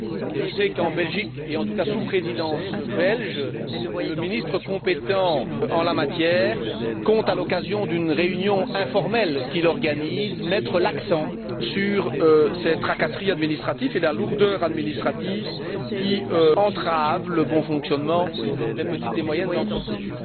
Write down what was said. Je sais qu'en Belgique, et en tout cas sous Présidence belge, le ministre compétent en la matière compte, à l'occasion d'une réunion informelle qu'il organise, mettre l'accent sur ces tracasseries administratives et la lourdeur administrative, qui entravent le bon fonctionnement des petites et moyennes entreprises.